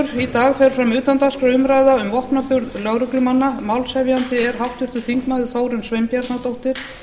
dag fer fram utandagskrárumræða um vopnaburð lögreglumanna málshefjandi er háttvirtur þingmaður þórunn sveinbjarnardóttir